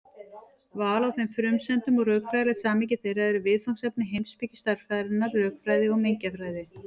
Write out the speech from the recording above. Val á þeim frumsendum og rökfræðilegt samhengi þeirra eru viðfangsefni heimspeki stærðfræðinnar, rökfræði og mengjafræði.